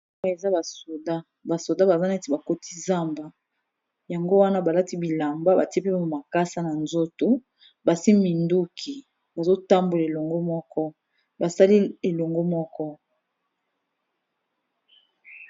Eza ba soda, ba soda baza neti ba koti zamba. Yango wana ba lati bilamba batie pe mua makasa na nzoto, basimbi minduki bazo tambola elongo moko, basali elongo moko.